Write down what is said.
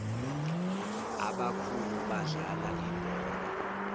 abakhulu badlala ibhola